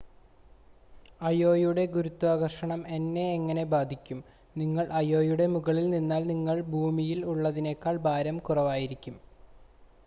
അയോയുടെ ഗുരുത്വാകർഷണം എന്നെ എങ്ങനെ ബാധിക്കും നിങ്ങൾ അയോയുടെ മുകളിൽ നിന്നാൽ നിങ്ങൾക്ക് ഭൂമിയിൽ ഉള്ളതിനേക്കാൾ ഭാരം കുറവായിരിക്കും